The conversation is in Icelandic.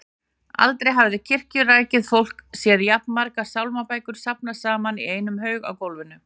Aldrei hafði kirkjurækið fólk séð jafn margar sálmabækur safnast saman í einum haug á gólfinu.